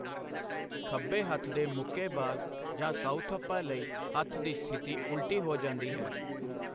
ਖੱਬੇ ਹੱਥ ਦੇ ਮੁੱਕੇਬਾਜ਼ ਜਾਂ ਸਾਊਥਪਾ ਲਈ ਹੱਥ ਦੀ ਸਥਿਤੀ ਉਲਟੀ ਹੋ ਜਾਂਦੀ ਹੈ।